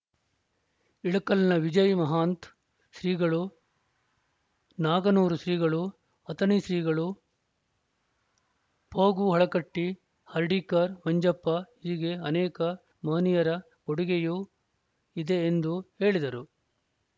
ಇಳಕಲ್‌ನ ವಿಜಯ ಮಹಾಂತ ಶ್ರೀಗಳು ನಾಗನೂರು ಶ್ರೀಗಳು ಅಥಣಿ ಶ್ರೀಗಳು ಫಗು ಹಳಕಟ್ಟಿ ಹರ್ಡೀಕರ್‌ ಮಂಜಪ್ಪ ಹೀಗೆ ಅನೇಕ ಮಹನೀಯರ ಕೊಡುಗೆಯೂ ಇದೆ ಎಂದು ಹೇಳಿದರು